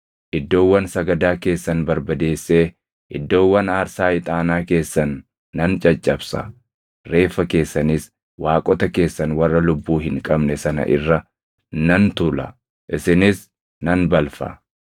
Iddoowwan sagadaa keessan barbadeessee iddoowwan aarsaa ixaanaa keessan nan caccabsa; reeffa keessanis waaqota keessan warra lubbuu hin qabne sana irra nan tuula; isinis nan balfa.